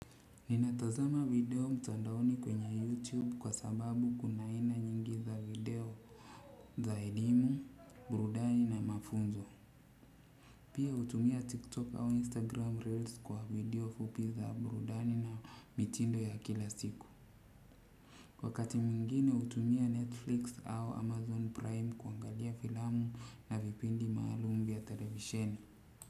Ninatazama video mtandaoni kwenye YouTube kwa sababu kuna aina nyingi za video za elimu, burudani na mafunzo. Pia utumia TikTok au Instagram Reels kwa video fupi za burudani na mitindo ya kila siku. Wakati mwingine utumia Netflix au Amazon Prime kuangalia filamu na vipindi maalumu vya televisheni.